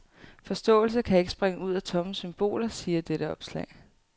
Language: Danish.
Forståelse kan ikke springe ud af tomme symboler, siger dette opslag.